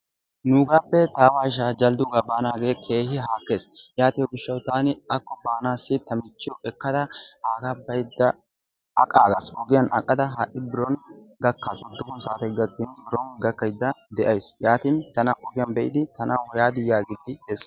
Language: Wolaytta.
Nuugaappe taawa ishaa jaldduugaa baanaagee keehi haakkes. Yaatiyo gishshawu taani akko baanaassi ta michchiyo ekkada aagaa baydda aqaagas. Ogiyan aqada ha"i biron gakkaas. Uddufun saatee gakkin biron gakkaydda de"ayis. Yaatin tana ogiyan be"idi tanawu yaadii yaagiiddi de"es.